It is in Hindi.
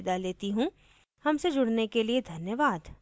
हमसे जुड़ने के लिए धन्यवाद